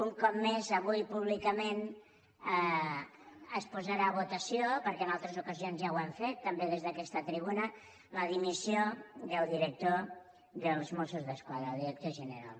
un cop més avui públicament es posarà a votació perquè en altres ocasions ja ho hem fet també des d’aquesta tribuna la dimissió del director dels mossos d’esquadra del director general